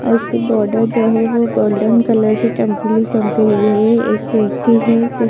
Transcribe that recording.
और उसकी बॉडर जो है वो गोल्डन कलर की चमकीली-चमकीली है एक व्यक्ति है जिस--